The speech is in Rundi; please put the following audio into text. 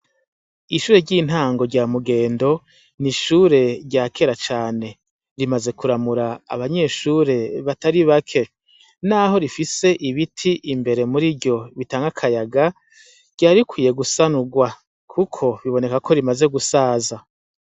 Ishure ry'intango rya Mugendo, n'ishure rya kera cane. Rimaze kuramura abanyeshure batari bake. Naho rifise ibiti imbere muri ryo bitanga akayaga, ryari rikwiye gusanurwa kuko biboneka ko rimaze gusaza.